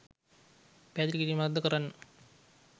පැහැදිලි කිරීමක් ද කරන්න.